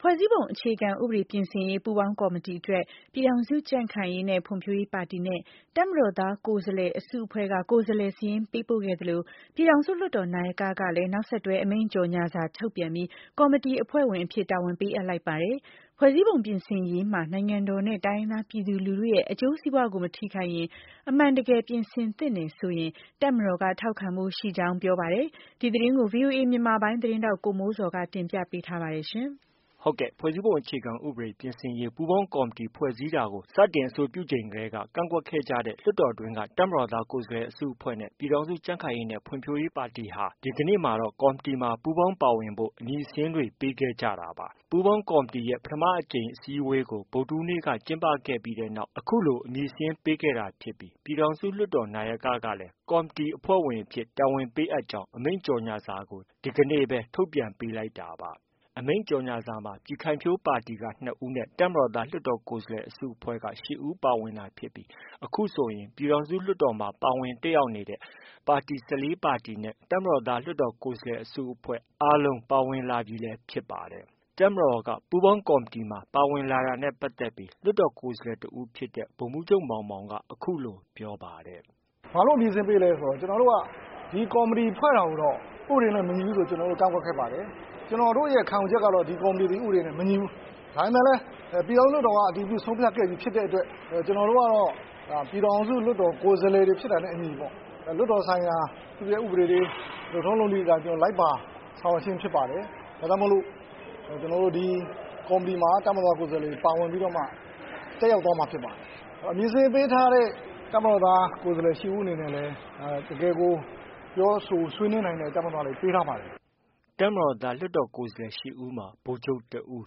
ဖွဲ့စည်းပုံအခြေခံဥပဒေ ပြင်ဆင်ရေး ပူးပေါင်းကော်မတီအတွက် ပြည်ထောင်စုကြံ့ခိုင်ရေးနဲ့ ဖွံ့ဖြိုးရေးပါတီနဲ့ တပ်မတော်သားကိုယ်စားလှယ်အစုအဖွဲ့က ကိုယ်စားလှယ်စာရင်းပေးပို့ခဲ့သလို ပြည်ထောင်စုလွှတ်တော် နာယကကလည်း နောက်ဆက်တွဲ အမိန့်ကြော်ငြာစာထုတ်ပြန်ပြီး ကော်မတီအဖွဲ့ဝင်အဖြစ် တာဝန်ပေးအပ်လိုက်ပါတယ်။ ဖွဲ့စည်းပုံပြင်ဆင်ရေးမှာ နိုင်ငံတော်နဲ့ တိုင်းရင်းသားပြည်သူလူထုရဲ့ အကျိုးစီးပွားကို မထိခိုက်ရင်၊ အမှန်တကယ် ပြင်ဆင်သင့်တယ်ဆိုရင် တပ်မတော်က ထောက်ခံဖို့ရှိကြောင်း ပြောပါတယ်။ ဒီသတင်းကိုတော့ ဗွီအိုအေမြန်မာပိုင်း သတင်းထောက် ကိုမိုးဇော်က တင်ပြထားပါတယ်။ ဖွဲ့စည်းပုံ အခြေခံဥပဒေပြင်ဆင်နိုင်ရေး ပူးပေါင်းကော်မတီ ဖွဲ့စည်းတာကို စတင် အဆိုပြုချိန်ကတည်းက ကန့်ကွက်ခဲ့ကြတဲ့ လွှတ်တော်တွင်းက တပ်မတော်သားကိုယ်စားလှယ် အစုအဖွဲ့နဲ့ ပြည်ထောင်စု ကြံ့ခိုင်ရေးနဲ့ ဖွံ့ဖြိုးရေးပါတီတွေဟာ ဒီကနေ့မှာတော့ ကော်မတီမှာ ပူးပေါင်းပါဝင်ဖို့ အမည်စာရင်းတွေပေးခဲ့ကြတာပါ။ ပူးပေါင်းကော်မတီရဲ့ ပထမအကြိမ် အစည်းအဝေးကို ဗုဒ္ဓဟူးနေ့က ကျင်းပပြီးတဲ့နောက် အခုလို အမည်စာရင်းပေးခဲ့တာဖြစ်ပြီး ပြည်ထောင်စုလွှတ်တော်နာယက ကလည်း ကော်မတီအဖွဲ့ဝင်အဖြစ် တာဝန်ပေးအပ်ကြောင်း အမိန့်ကြော်ငြာစာကို ဒီကနေ့ပဲ ထုတ်ပြန်ပေးလိုက်တာပါ။ ဒီအမိန့်ကြော်ငြာစာမှာ ပြည်ခိုင်ဖြိုးပါတီက ၂ ဦးနဲ့ တပ်မတော်သားလွှတ်တော်ကိုယ်စားလှယ် အစုအဖွဲ့က ၈ ဦးပါဝင်တာဖြစ်ပြီး အခုဆိုရင် ပြည်ထောင်စုလွှတ်တော်မှာ ပါဝင်တက်ရောက်နေတဲ့ ပါတီ ၁၄ ပါတီနဲ့ တပ်မတော်သား လွှတ်တော်ကိုယ်စားလှယ်အစုအဖွဲ့ အားလုံးပါဝင်လာပြီလည်း ဖြစ်ပါတယ်။ တပ်မတော်က ပူးပေါင်းကော်မတီပါဝင်လာတာနဲ့ပတ်သက်ပြီး လွှတ်တော်ကိုယ်စားတစ်ဦးဖြစ်တဲ့ ဗိုလ်မှူးချုပ်မောင်မောင်က အခုလို ပြောပါတယ်။ “ ဘာလို့ အမည်စာရင်းပေးလဲဆိုတော့ ကျနော်တို့က ကော်မတီကို ဖွဲ့တာကိုတော့ ဥပဒေနဲ့ မညီဘူးဆိုပြီး ကန့်ကွက်ခဲ့ပါတယ်။ ကျနော်တို့ရဲ့ ခံယူချက်ကတော့ ဒီကော်မတီသည် ဥပဒေနဲ့ မညီဘူး။ ဒါပေမဲ့လည်း ပြည်ထောင်စုလွှတ်တော်မှာ အတည်ပြုဆုံးဖြတ်ခဲ့ပြီးဖြစ်တဲ့အတွက် ကျနော်တို့ကတော့ ပြည်ထောင်စုလွှတ်တော်မှာ ကိုယ်စားလှယ်တွေဖြစ်တာနဲ့အညီ လွှတ်တော်ဆိုင်ရာ သူ့ရဲ ဥပဒေတွေ လုပ်ထုံးလုပ်နည်းတွေအတိုင်း လိုက်ပါဆောင်ရွက်ခြင်းဖြစ်ပါတယ်။ ဒါကြောင့်မို့လို့ ကျနော်တို့ ဒီ ကော်မတီမှာ တပ်မတော်သား ကိုယ်စားလှယ်တွေ ပါဝင်ပြီးတော့မှ တက်ရောက် သွားမှာဖြစ်ပါတယ်။ အမည်စာရင်းပေးထားတဲ့ တပ်မတော်သား ကိုယ်စားလှယ် ၈ ဦး အနေနဲ့လည်း တကယ်ကို ပြောဆိုဆွေးနွေးနိုင်တဲ့ တပ်မတော်သားတွေ ပေးထားပါတယ်။” တပ်မတော်သားကိုယ်စားလှယ် ၈ဦးမှာ ဗိုလ်ချုပ်တစ်ဦး၊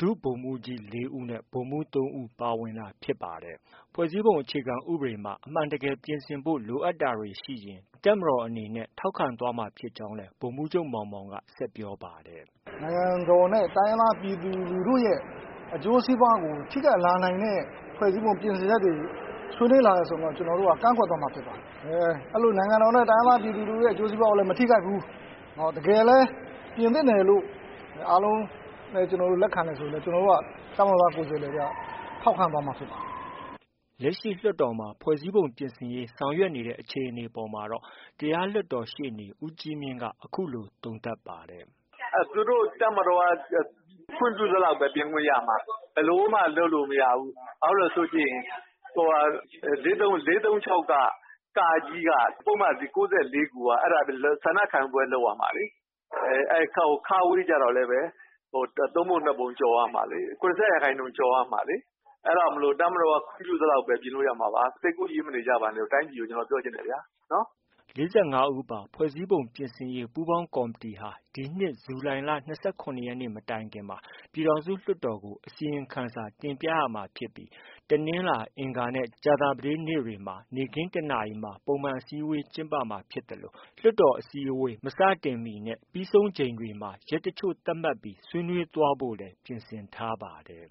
ဒုဗိုလ်မှူးကြီး ၄ဦး၊ ဗိုလ်မှူး ၃ဦး ပါဝင်တာဖြစ်ပါတယ်။ ဖွဲ့စည်းပုံအခြေခံဥပဒေမှာ အမှန်တကယ်ပြင်ဆင်ဖို့ လိုအပ်တာတွေရှိရင် တပ်မတော်အနေနဲ့ ထောက်ခံသွားမှာဖြစ်ကြောင်းလည်း ဗိုလ်မှူးချုပ် မောင်မောင်က ဆက်ပြောပါတယ်။ “ နိုင်ငံတော်နဲ့ တိုင်းရင်းသားပြည်သူလူထုရဲ့ အကျိုးစီးပွားကို ထိခိုက်လာနိုင်တဲ့ ဖွဲ့စည်းပုံပြင်ဆင်ချက်တွေ ဆွေးနွေးလာတယ်ဆိုရင်တော့ ကျနော်တို့က ကန့်ကွက်သွားမှာဖြစ်ပါတယ်။ နိုင်ငံတော်နဲ့ တိုင်းရင်းသား ပြည်သူလူထုရဲ့ အကျိုးစီးပွားကိုလည်း မထိခိုက်ဘူး။ တကယ်လည်း ပြင်သင့်တယ် လို့ အားလုံး လက်ခံတယ် ဆိုရင်လည်း ကျနော်တို့က တပ်မတော်သား ကိုယ်စားလှယ်တွေ က ထောက်ခံသွားမှာ ဖြစ်ပါတယ်။” လက်ရှိ လွှတ်တော်မှာ ဖွဲ့စည်းပုံပြင်ဆင်ရေး ဆောင်ရွက်နေတဲ့ အခြေအနေအပေါ်မှာတော့ တရားလွှတ်တော် ရှေ့နေ ဦးကြီးမြင့်က အခုလို သုံးသပ်ပါတယ်။ “ သူတို့ တပ်မတော်က ခွင့်ပြုသလောက်ပဲ ပြင်ခွင့်ရမှာ။ ဘယ်လိုမှ လုပ်လို့ မရဘူး။ ဘာဖြစ်လို့လည်းဆိုရင် ၄၃၆ က ပုဒ်မ ၉၄ခုက အဲဒါ ဆန္ဒခံယူပွဲလုပ်ရမှာလေ။ အဲဒီ ကျတော့လည်းပဲ ၃ပုံ ၂ပုံကျော်ရမှာလေ။ ၇၅ ရာခိုင်နှုန်း ကျော်ရမှာလေ။ အဲဒါကြောင့်မို့ တပ်မတော်က ခွင့်ပြု သလောက်ပဲ ပြင်လို့ ရမှာပါ။ စိတ်ကူးယဉ်မနေကြပါနဲ့လို့ တိုင်းပြည်ကို ကျနော် ပြောချင်တယ်ဗျာ။” ၄၅ဦးပါ ဖွဲ့စည်းပုံပြင်ဆင်ရေးပူးပေါင်းကော်မတီဟာ ဒီနှစ်ဇူလိုင်လ ၂၇ရက်နေ့ မတိုင်မီမှာ ပြည်ထောင်စု လွှတ်တော်ကို အစီရင်ခံစာတင်ပြရမှာဖြစ်ပြီး တနင်္လာ၊ အင်္ဂါနဲ့ ကြာသပတေးနေ့တွေမှာ နေ့ခင်း ၁နာရီမှာ ပုံမှန်အစည်းဝေးကျင်းပမှာဖြစ်သလို လွှတ်တော်အစည်းအဝေး မစတင်မီနဲ့ ပြီးဆုံးချိန်တွေမှာ ရက်တစ်ချို့သတ်မှတ်ပြီး ဆွေးနွေးသွားဖို့လည်း ပြင်ဆင်ထားပါတယ်